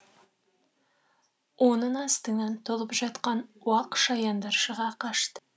оның астынан толып жатқан уақ шаяндар шыға қашты